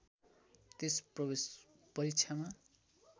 त्यस प्रवेश परीक्षामा